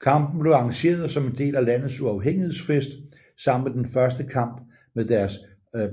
Kampen blev arrangeret som en del af landets uafhængighedsfest sammen med den første kamp med deres